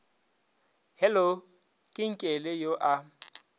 hello ke nkele yo a